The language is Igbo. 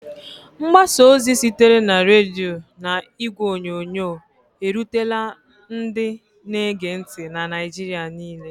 Mgbasa ozi sitere na redio na igwe onyonyo, erutela ndị na-ege ntị na Naịjirịa niile.